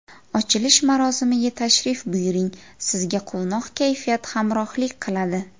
Ochilish marosimiga tashrif buyuring, sizga quvnoq kayfiyat hamrohlik qiladi!